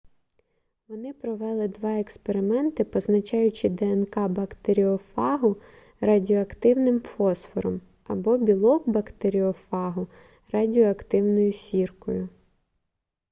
вони провели два експерименти позначаючи днк бактеоріофагу радіоактивним фосфором або білок бактеріофагу радіоактивною сіркою